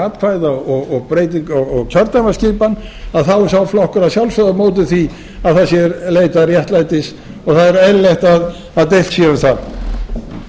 atkvæða og kjördæmaskipan þá er sá flokkur að sjálfsögðu á móti því að það sé leitað réttlætis og það er eðlilegt að deilt sé um